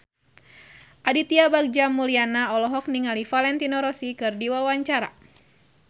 Aditya Bagja Mulyana olohok ningali Valentino Rossi keur diwawancara